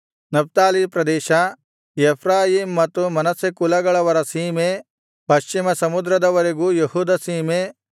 Naphtali ಪ್ರದೇಶ Ephraim ಮತ್ತು Manasseh ಕುಲಗಳವರ ಸೀಮೆ ಪಶ್ಚಿಮಸಮುದ್ರದವರೆಗೂ ಯೆಹೂದ ಸೀಮೆ